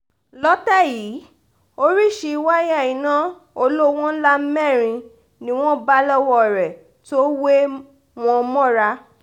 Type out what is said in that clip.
lọ́tẹ̀ yìí oríṣìí wáyà iná olówó ńlá mẹ́rin ni wọ́n bá lọ́wọ́ rẹ̀ tó wé wọn mọ́ra